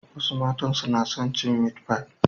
Wasu matan suna son cin meat pie.